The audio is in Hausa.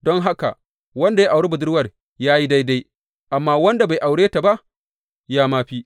Don haka, wanda ya auri budurwar ya yi daidai, amma wanda bai aure ta ba ya ma fi.